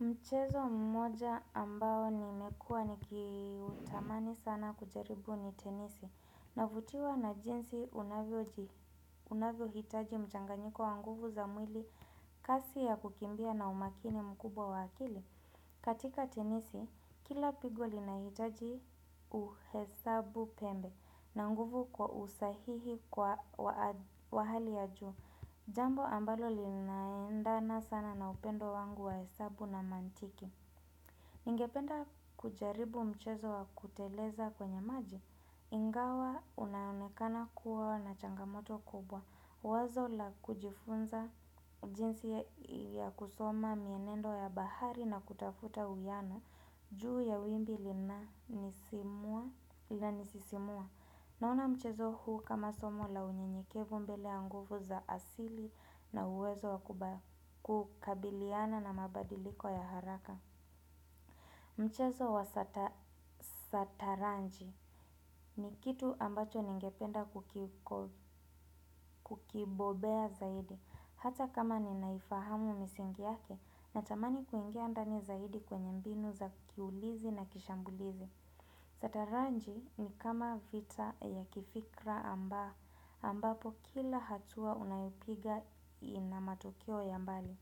Mchezo mmoja ambao nimekuwa nikiutamani sana kujaribu ni tenisi. Navutiwa na jinsi unavyohitaji mchanganyiko wa nguvu za mwili, kasi ya kukimbia na umakini mkubwa wa akili. Katika tenisi, kila pigo linaitaji uhesabupembe na nguvu kwa usahihi wa hali ya juu, jambo ambalo linaendana sana na upendo wangu wa hesabu na mantiki. Ningependa kujaribu mchezo wa kuteleza kwenye maji, ingawa unaonekana kuwa na changamoto kubwa, wazo la kujifunza jinsi ya kusoma mienendo ya bahari na kutafuta uyani, juu ya wimbi linanisisimua, naona mchezo huu kama somo la unyenyekevu mbele ya nguvu za asili na uwezo wa kukabiliana na mabadiliko ya haraka. Mchezo wa sataranji ni kitu ambacho ningependa kukibobea zaidi. Hata kama ni naifahamu misingi yake natamani kuingia ndani zaidi kwenye mbinu za kiulizi na kishambulizi Sataranji ni kama vita ya kifikra ambapo kila hatua unayopiga ina matukio ya mbali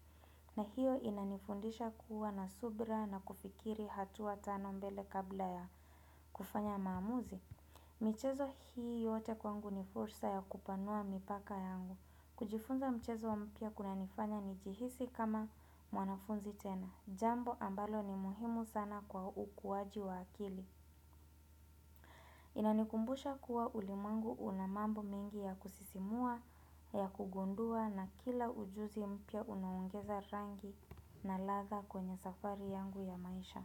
na hiyo inanifundisha kuwa na subira na kufikiri hatua tano mbele kabla ya kufanya maamuzi. Michezo hii yote kwangu ni fursa ya kupanua mipaka yangu. Kujifunza mchezo mpya kunanifanya nijihisi kama mwanafunzi tena. Jambo ambalo ni muhimu sana kwa ukuaji wa akili. Inanikumbusha kuwa ulimwengu una mambo mingi ya kusisimua, ya kugundua, na kila ujuzi mpya unaongeza rangi na ladha kwenye safari yangu ya maisha.